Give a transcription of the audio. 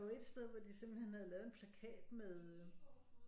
Der var et sted hvor de simpelthen havde lavet en plakat med